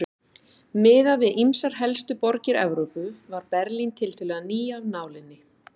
Miðað við ýmsar helstu borgir Evrópu var Berlín tiltölulega ný af nálinni.